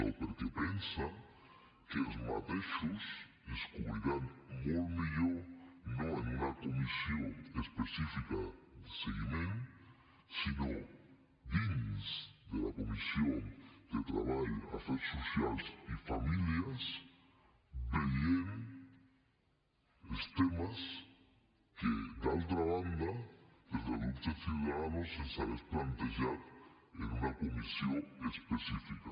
o perquè pensa que aquests objectius es cobriran molt millor no en una comissió específica de seguiment sinó dins de la comissió de treball afers socials i famílies veient els temes que d’altra banda des del grup de ciudadanos se’ns haguessin plantejat en una comissió específica